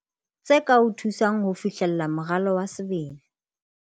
Tse ka o thusang ho fihlella moralo wa sebele